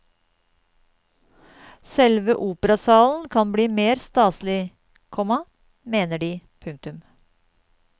Selve operasalen kan bli mer staselig, komma mener de. punktum